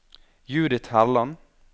Judith Herland